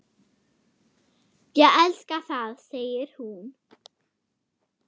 Ég elska það, segir hún.